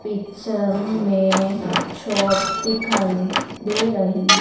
picture में shop दिखाई दे रही--